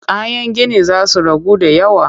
Kayan ginin za su ragu da yawa